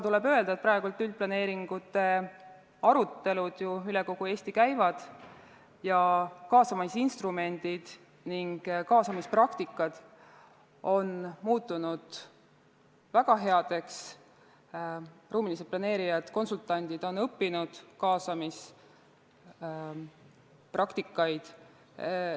Tuleb öelda, et praegu üldplaneeringute arutelud ju üle kogu Eesti käivad, kaasamisinstrumendid ning kaasamispraktika on muutunud väga heaks, ruumilised planeerijad ja konsultandid on õppinud kaasamispraktikat.